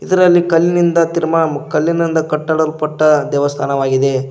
ಇದರಲ್ಲಿ ಕಲ್ಲಿನಿಂದ ಕಲ್ಲಿನಿಂದ ಕಟ್ಟಡಲ್ಪಟ್ಟ ದೇವಸ್ಥಾನವಾಗಿದೆ.